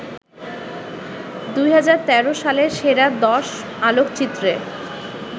২০১৩ সালের সেরা দশ আলোকচিত্রে